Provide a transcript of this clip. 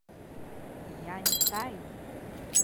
яньтай